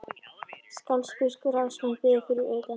Skálholtsbiskup og ráðsmaður biðu fyrir utan.